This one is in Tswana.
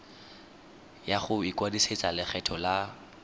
ya go ikwadisetsa lekgetho la